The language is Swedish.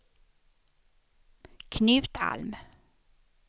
Knut Alm